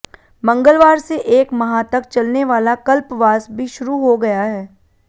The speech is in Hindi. मंगलवार से एक माह तक चलने वाला कल्पवास भी शुरू हो गया है